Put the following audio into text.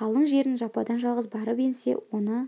қалың жеріне жападан-жалғыз барып енсе оны